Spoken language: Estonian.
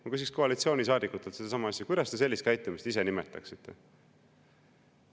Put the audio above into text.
Ma küsiksin koalitsioonisaadikutelt sedasama asja: kuidas te sellist käitumist ise nimetaksite?